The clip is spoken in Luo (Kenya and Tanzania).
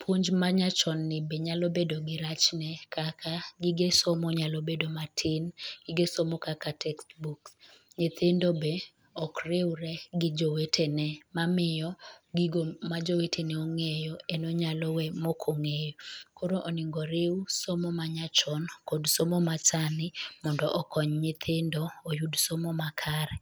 Puonj ma nyachoni be nyalo bedo gi rachne kaka, gige somo nyalo bedo matin, gige somo kaka texbooks, nyithindo be okriure gi jowetene, mamiyo gigo majowetene ong'eyo en onyalo we maok ong'eyo, koro onego riu somo manyachon kod somo masani mondo okony nyithindo oyud somo makare.